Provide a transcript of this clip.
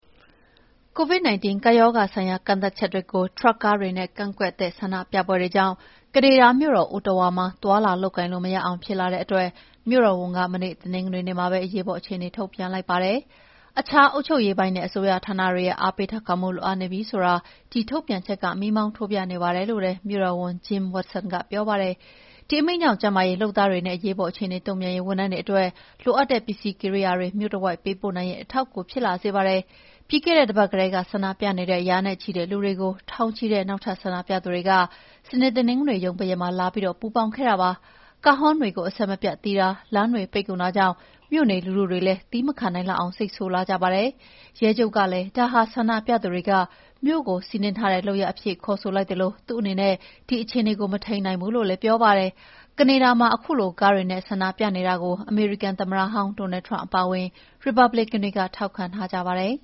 Covid-19 ကပ်ရောဂါဆိုင်ရာ ကန့်သတ်ချက်တွေကို ထရပ်ကားတွေနဲ့ ကန့်ကွက် တဲ့ ဆန္ဒပြပွဲတွေကြောင့် ကနေဒါမြို့တော် Ottawa မှာ သွားလာလုပ်ကိုင်လို့ မရအောင်ဖြစ်လာတဲ့အတွက် မြို့တော်ဝန်က မနေ့ တနင်္ဂနွေနေ့မှာ အရေးပေါ်အခြေအနေ ထုတ်ပြန်လိုက်ပါတယ်။ အခြား အုပ်ချုပ်ရေးပိုင်းနဲ့ အစိုးရဌာနတွေရဲ့ အားပေးထောက်ခံမှုလိုအပ်နေပြီဆိုတာ ဒီထုတ်ပြန်ချက်က မီးမှောင်းထိုးပြနေပါတယ်လို့ မြို့တော်ဝန် Jim Watson ကပြောပါတယ်။ ဒီအမိန့်ကြောင့် ကျန်းမာရေးလုပ်သားတွေနဲ့ အရေးပေါ်အခြေအနေတုံ့ပြန်ရေးဝန်ထမ်းတွေအတွက် လိုအပ်တဲ့ပစ္စည်းကိရိယာတွေ မြို့တဝိုက် ပေးပို့နိုင်ရေး အထောက်အကူဖြစ်လာစေပါတယ်။ ပြီးခဲ့တဲ့တပတ်ကတည်းက ဆန္ဒပြနေတဲ့ ရာနဲ့ချီတဲ့ လူတွေကို ထောင်ချီတဲ့ နောက် ထပ်ဆန္ဒပြသူတွေက စနေ၊ တနင်္ဂနွေ ရုံးပိတ်ရက်မှာလာပြီးပူးပေါင်းခဲ့ကြတာပါ။ ကားဟွန်းတွေ အဆက်မပြတ်တီးတာ၊ လမ်းတွေပိတ်ကုန်တာကြောင့် မြို့နေလူထုတွေလည်း သည်းမခံနိုင်အောင် စိတ်ဆိုးလာကြပါတယ်။ ရဲချုပ်ကလည်း ဒါဟာ ဆန္ဒပြသူတွေက မြို့ကို စီးနင်းထားတဲ့လုပ်ရပ်အဖြစ်ခေါ်ဆိုလိုက်သလို သူ့အနေနဲ့ မထိမ်းနိင်ဘူးလို့လည်းပြောပါတယ်။ ကနေဒါမှာ ခုလို ကားတွေနဲ့ ဆန္ဒပြနေကြတာကို အမေရိကန် သမ္မတဟောင်း Donald Trump အပါအဝင် ရီပတ်ဘလစ်ကန်တွေက ထောက်ခံကြပါတယ်